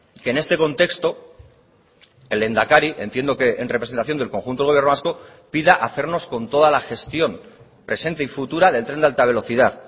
que en este contexto el lehendakari entiendo que en representación del conjunto del gobierno vasco pida hacernos con toda la gestión presente y futura del tren de alta velocidad